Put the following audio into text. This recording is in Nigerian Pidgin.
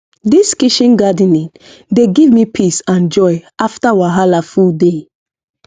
this kitchen gardening dey give me peace and joy after wahala full day